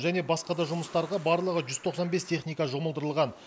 және басқа да жұмыстарға барлығы жүз тоқсан бес техника жұмылдырылған